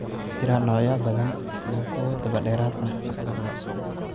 Waxaa jira noocyo ba'an iyo kuwo dabadheeraad ah labadaba.